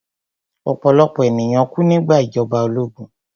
Ọ̀pọ̀lọ̀pọ̀ ènìyàn kú nígbà ìjọba ológun